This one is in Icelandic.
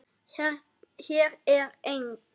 Hér er eng